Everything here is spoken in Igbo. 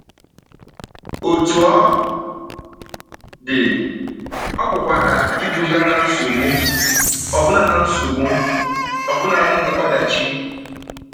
Otú ọ dị, ọ pụkwara iduga ná nsogbu, ọbụna ná nsogbu, ọbụna ọdachi.